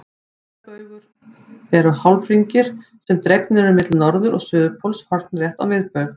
Lengdarbaugar eru hálfhringir sem dregnir eru á milli norður- og suðurpóls hornrétt á miðbaug.